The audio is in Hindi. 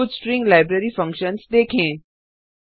कुछ स्ट्रिंग लाइब्रेरी फंक्शन्स देखें